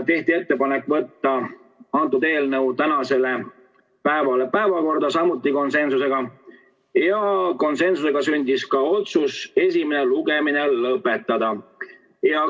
Tehti ettepanek võtta eelnõu tänase päeva päevakorda, samuti konsensusega, ja konsensusega sündis ka otsus esimene lugemine lõpetada.